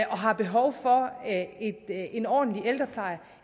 og har behov for en ordentlig ældrepleje